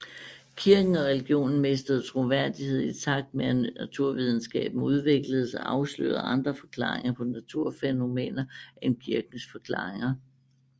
Kirken og religionen mistede troværdighed i takt med at naturvidenskaben udvikledes og afslørede andre forklaringer på naturfænomener end kirkens forklaringer